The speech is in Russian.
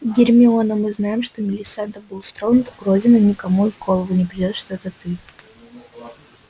гермиона мы знаем что милисента булстроуд уродина никому и в голову не придёт что это ты